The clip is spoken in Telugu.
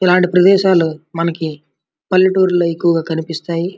ఇలాంటి ప్రదేశాలు మనకి పల్లెటూర్లో ఎక్కువగా కనిపిస్తాయి.